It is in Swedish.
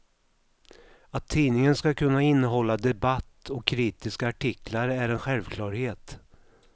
Att tidningen ska kunna innehålla debatt och kritiska artiklar är en självklarhet.